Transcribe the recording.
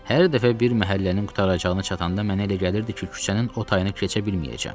Hər dəfə bir məhəllənin qurtaracağına çatanda mənə elə gəlirdi ki, küçənin o tayını keçə bilməyəcəm.